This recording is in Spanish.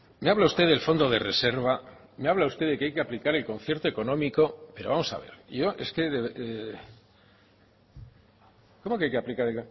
me habla usted del fondo de reserva me habla usted de que hay que aplicar el concierto económico pero vamos a ver yo es que cómo que hay que aplicar